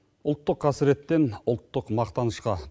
ұлттық қасіреттен ұлттық мақтанышқа